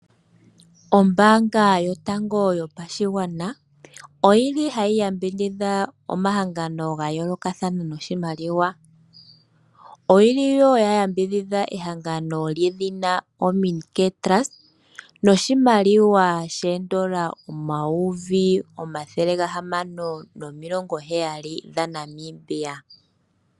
Ombaanga yotango yopashigwana, oyi li ha yi yambidhidha omahangano ga yoolokathana noshimaliwa. Oyi li woo ya yambidhidha ehangano ha li ithanwa ( OMINICARE TRUST) noshimaliwa shoondola omayovi omathele gahamano nomilongo heyali dhaNamibia.